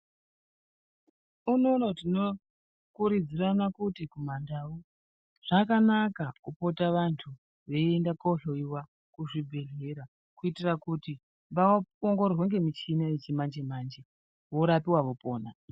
Unono tinokurudzira kuti ,kumandau, zvakanaka kupota vanthu vapote veiende kohloiwa kuchibhehlera kuitira kuti vaongororwe ngemichini yechi manje manje ,vorapiwa ,vopona.